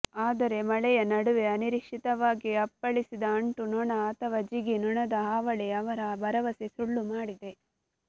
ಆದರೆ ಮಳೆಯ ನಡುವೆ ಅನಿರೀಕ್ಷಿತವಾಗಿ ಅಪ್ಪಳಿಸಿದ ಅಂಟು ನೊಣ ಅಥವಾ ಜಿಗಿ ನೊಣದ ಹಾವಳಿ ಅವರ ಭರವಸೆ ಸುಳ್ಳು ಮಾಡಿದೆ